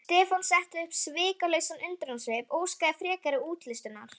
Stefán setti upp svikalausan undrunarsvip og óskaði frekari útlistunar.